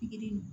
Pikiri